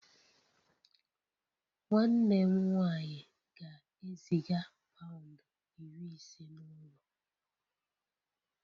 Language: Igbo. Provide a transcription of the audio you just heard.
Nwanne m nwanyị ga-eziga pound iri ise n'ụlọ